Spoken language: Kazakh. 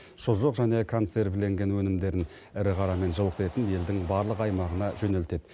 шұжық және консервіленген өнімдерін ірі қара мен жылқы етін елдің барлық аймағына жөнелтеді